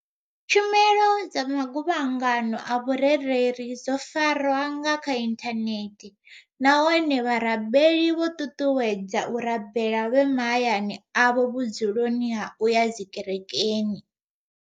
Tshumelo dza maguvhangano a vhurereli dzo farwa nga kha inthane the nahone vharabeli vho ṱuṱuwedzwa u rabela vhe mahayani avho vhudzuloni ha u ya dzikerekeni.